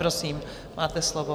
Prosím, máte slovo.